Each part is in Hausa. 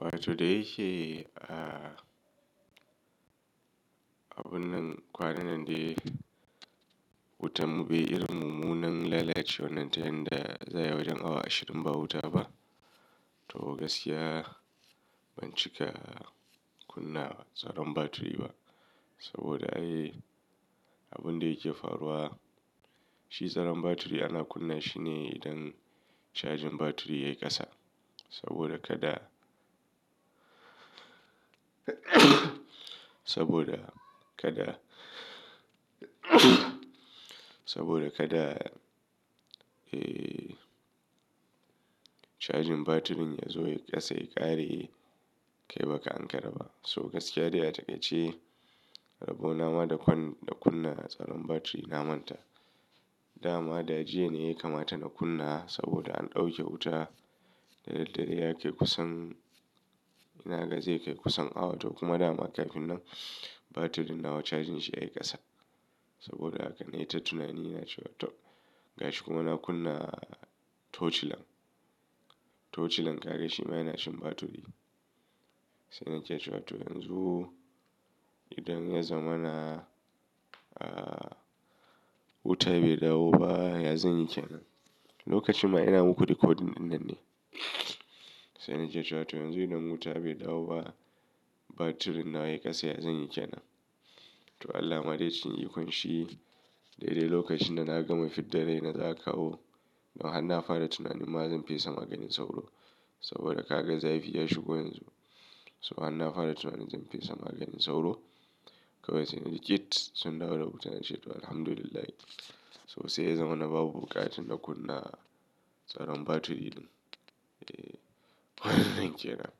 Wato da yake, ah, abun nan kwanan nan dai wuta mu be irin mummunan lalacewar nan ta yanda za'i wajen awa ashirin ba wuta ba. To gaskiya ban cika kunna tsaron batiri ba saboda ai abun da yake faruwa shi tsaron batiri ana kunna shi ne idan cajin batiri ya yi ƙasa. Saboda kada, saboda kada, saboda kada, eh, cajin batirin ya zo ya yi ƙasa ya ƙare kai baka an karaba. So gaskiya dai a takaitacce, rabo na ma da kunna tsaron batiri na manta. Da ma, da jiya ne ya kamata na kunna saboda an ɗauke wuta da daddare yake kusan, ina ga zai kai kusan awa toh kuma da ma kafin nan batirin na wajen cajin shi ya yi ƙasa. Saboda haka na yi ta tunani na cewa toh gashi kuma na kunna Touch light. Touch light, ka ga shima yana shan batiri. Sai na ke cewa to yanzu idan ya zama na, ah, wutar bai dawo ba, ya zan yi kenan. Lokacin ma ina muku rikodin nan ne. Sai na cewa to yanzu idan wuta ya bi dawo ba batirin na ya yi ƙasa ya zanyi kenan. To Allah ma dai cikin ikon shi dai-dai lokacin da na gama fidda rai na za'a kawo. Da har na fara tunanin ma zan fesa maganin sauro saboda ka ga zafi ya shigo yanzu. So har na fara tunanin zan fesa maganin sauro. Kawai sai na ji kit sun dawo da wuta na ce to Alhamdulillah. So sai ya zama na babu buƙatun na kunna tsaron batiri din. Eh, wannan kenan.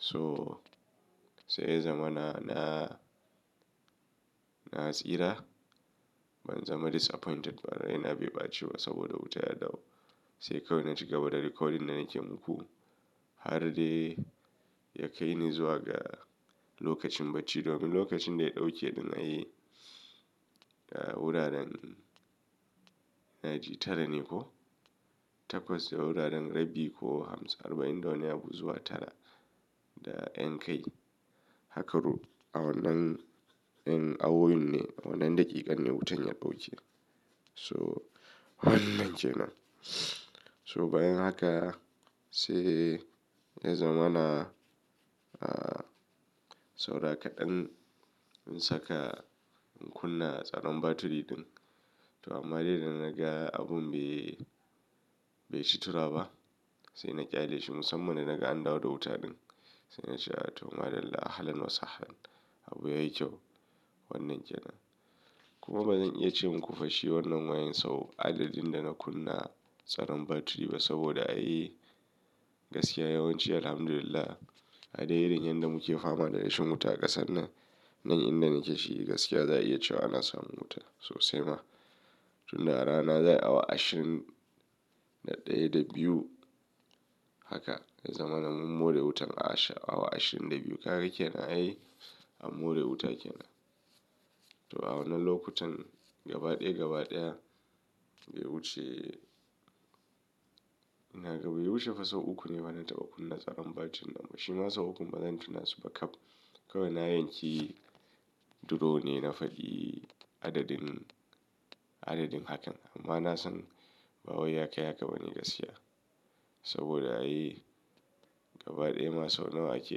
So sai ya zama na, na, na tsira. Ban zama disappointed ba, rai na bai ɓaci ba saboda wuta ya dawo. Sai kawai na cigaba da rikodin da nake muku har dai ya kai ni zuwa ga lokacin bacci domin lokacin da ya ɗauke ni na yi, ah, wuraren ina ji tara ne ko? Takwas da wuraren rabi ko hamsin arba'in da wani abu zuwa tara da ƴan kai. Hakaru awannan ƴan awowin ne, awannan daƙiƙan ne wutan ya ɗauke. So wannan kenan. So bayan haka sai ya zama na, ah, saura kaɗan in saka, in kunna tsaron batiri din. To amma dai da na ga abun bai, bai shi tira ba. Sai na ƙyale shi musamman da naga an dawo da wuta din. Sai na ce ah toh madalla ahlan wasa halan. Abu yayi kyau wannan kenan. Kuma bazan iya ce muku fashi wannan wayan sau adadin da na kunna tsaron batiri ba saboda ai gaskiya yawanci Alhamdulillah a dai dai da yadda muke fama da rashin wuta a ƙasar nan, nan inda nake shi gaskiya za a iya cewa ana samun wuta sosai ma. Tun da rana za'a'i awa ashirin da ɗaya da biyu haka ya zama na mun more da wutan a sha'awa ashirin da biyu. Kaga kenan ai an more wuta kenan. To awannan lokutan gaba ɗaya gaba ɗaya bai wuce ina ga bai wuce fa sau uku ne ma na taɓa kunna tsaron batirin na shima sau uku bazan tuna su ba kap. Kawai na yanki duro ne na faɗi adadin, adadin hakan amma na san ba wai ya kai haka bane gaskiya. Saboda ai gaba ɗaya ma sau nawa ake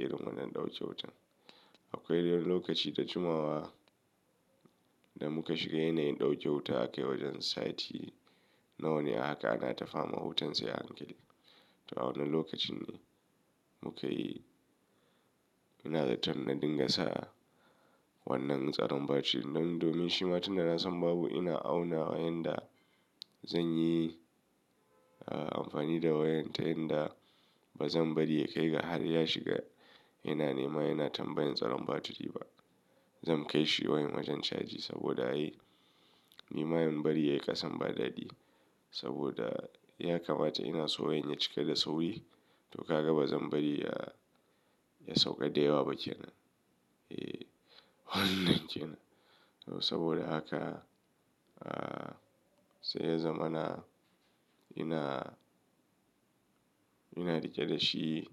yin wannan ɗauke wutan. Akwai dai lokaci da jimawa da muka shiga yanayin ɗauke wuta aka yi wajen sati, Nawa ne haka ana ta fama da wutan sai a hankali. To awannan lokacin ne muka yi, ina zaton na dinga sa wannan tsaron batiri nan domin shi ma tun da na san babu ina auna wayanda zanyi, ah, amfani da wayan ta yanda bazan bari ya kai ga har ya shiga yanayi ma yana tambayan tsaron batiri ba. Zan kai shi wayan wajen caji saboda ai nima yin bari ya yi ƙasan ba dadi saboda ya kamata ina so wayan ya cika da sauri. To kaga bazan bari ya, ya sauka da yawa ba kenan. Eh wannan kenan. To saboda haka, ah, sai ya zama na, ina, ina riƙe da shi.